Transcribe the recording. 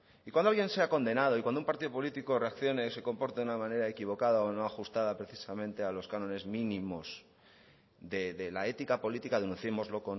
y cuando alguien sea condenado y cuando un partido político reaccione se comporte de una manera equivocada o no ajustada precisamente a los cánones mínimos de la ética política denunciémoslo